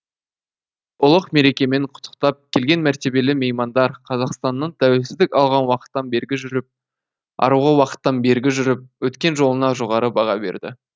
ұлық мерекемен құттықтап келген мәртебелі меймандар қазақстанның тәуелсіздік алған уақыттан бергі жүріп өткен жолына жоғары баға берді